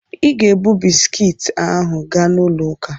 Ị ga-ebu bisikiiti ahụ gaa n'ụlọ ụka!